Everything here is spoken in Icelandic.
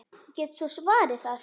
Ég get svo svarið það.